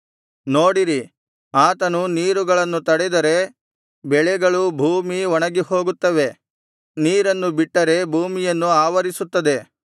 ನೋಡಿರಿ ಆತನು ನೀರುಗಳನ್ನು ತಡೆದರೆ ಬೆಳೆಗಳು ಭೂಮಿ ಒಣಗಿಹೋಗುತ್ತದೆ ನೀರನ್ನು ಬಿಟ್ಟರೆ ಭೂಮಿಯನ್ನು ಆವರಿಸುತ್ತದೆ